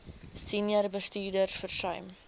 senior bestuurders versuim